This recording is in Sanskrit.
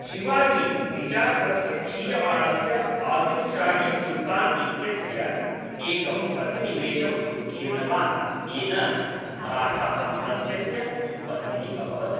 शिवाजी बिजापुरस्य क्षीयमाणस्य आदिल्शाहीसुल्तान् इत्यस्य एकं प्रतिनिवेशम् उत्कीर्णवान्, येन मराठासाम्राज्यस्य उत्पत्तिः अभवत्।